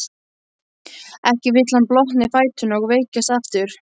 Ekki vill hann blotna í fæturna og veikjast aftur.